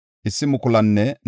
Zata yaray 945;